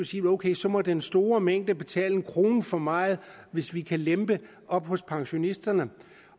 sige ok så må den store mængde betale en krone for meget hvis vi kan lempe hos pensionisterne